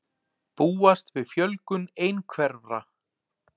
Búast við fjölgun einhverfra